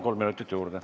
Kolm minutit juurde.